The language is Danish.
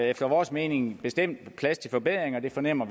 efter vores mening bestemt plads til forbedringer og vi fornemmer